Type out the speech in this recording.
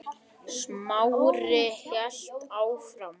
Smári hélt áfram.